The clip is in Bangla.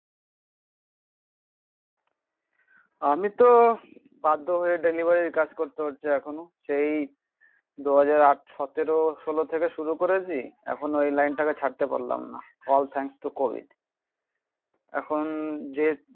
আমি তো বাধ্য হয়ে ডেলিভারির কাজ করতে হচ্ছে এখনো. সেই দু হাজার আট সতেরো ষোল থেকে শুরু করেছি. এখনো এই লাইনটাকে ছাড়তে পারলাম না. অল থ্যাঙ্কস টু কোভিড এখন যে